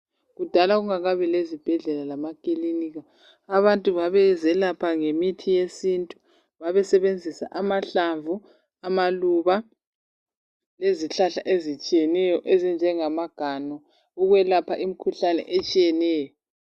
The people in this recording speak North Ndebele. Kudala kungakabi lezibhedlela lamakilinika, abantu babezelapha ngemithi yesintu. Babesebenzisa amahlamvu, amaluba, lezihlahla ezitshiyeneyo ezinjengamaganu ukwelapha imkhuhlane etshiyeneyo.